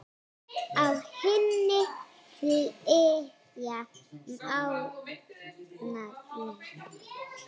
Á henni flytja Mánar lögin